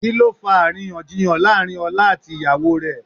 Kí ló fa àríyànjiyàn láàrín ọlá àti ìyàwó rẹ̀?